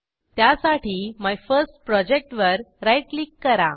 त्यासाठी मायफर्स्टप्रोजेक्ट वर right click करा